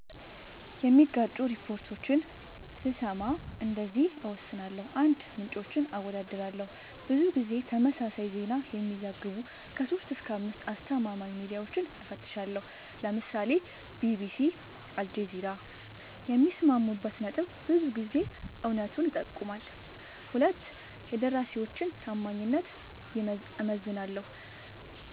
የሚጋጩ ሪፖርቶችን ስሰማ እንደዚህ እወስናለሁ :- 1, ምንጮችን አወዳድራለሁ :-ብዙ ጊዜ ተመሳሳይ ዜና የሚዘግቡ 3-5አስተማማኝ ሚድያወችን እፈትሻለሁ ( ለምሳሌ ቢቢሲ አልጀዚራ )የሚስማሙበት ነጥብ ብዙ ጊዜ እውነቱን ይጠቁማል 2 የደራሲወችን ታማኝነት እመዝናለሁ